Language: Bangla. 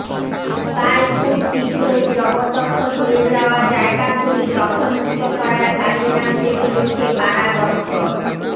তাই খুব শীঘ্রই জবরদখল হয়ে যাওয়া জায়গাগুলি দখল মুক্ত করার কাজে নামতে চলেছে কারা দফতর